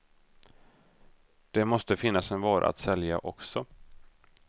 Det måste finnas en vara att sälja också.